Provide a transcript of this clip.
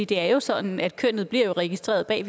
det er jo sådan at kønnet bliver registreret bag